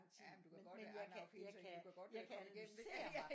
Jamen du kan godt an auf hinter in du kan godt komme igennem det